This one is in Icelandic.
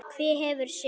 Hver hefur sitt.